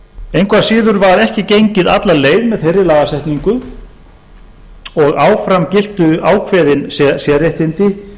engu að síður var ekki gengið alla leið með þeirri lagasetningu og áfram giltu ákveðin sérréttindi